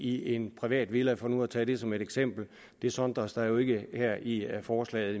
i en privat villa for nu at tage det som et eksempel det sondres der jo ikke her i forslaget